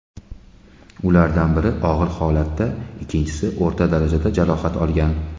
Ulardan biri og‘ir holatda, ikkinchisi o‘rta darajada jarohat olgan.